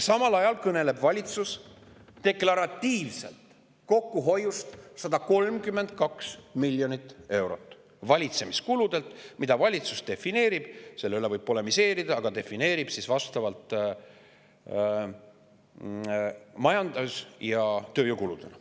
Samal ajal kõneleb valitsus deklaratiivselt 132 miljoni eurosest kokkuhoiust valitsemiskuludelt, mida valitsus defineerib – selle üle võib polemiseerida – majandamis‑ ja tööjõukuludena.